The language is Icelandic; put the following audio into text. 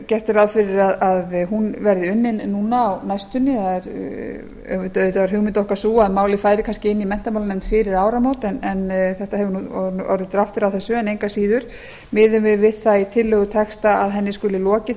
gert er ráð fyrir að hún verði unnin á næstunni auðvitað var hugmynd okkar sú að málið færi kannski inn í menntamálanefnd fyrir áramót en það hefur orðið dráttur á þessu en engu að síður miðum við við það í tillögutexta að henni skuli lokið